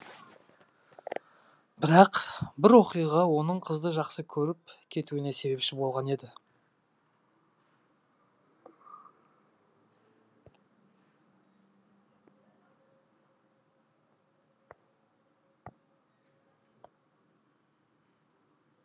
бірақ бір оқиға оның қызды жақсы көріп кетуіне себепші болған еді